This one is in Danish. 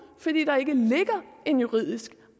ikke ligger en juridisk